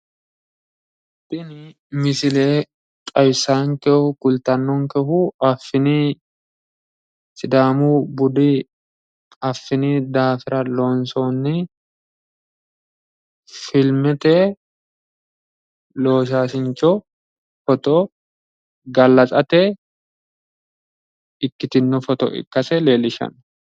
Tini misile xawissaankehu kultannonkehu affini sidaamu budi affini daafira loonsoonni filmete loosaasincho foto gallatsate ikkitinno foto ikkase leellishshanno.